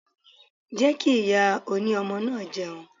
Jẹ́ kí ìyá oní ọmọ náà jẹun.